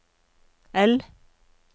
L